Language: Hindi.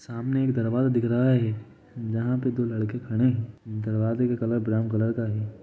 सामने एक दरवाजा दिख रहा है जहाँ दो लड़के खड़े है दरवाजे का कलर ब्राउन कलर का है।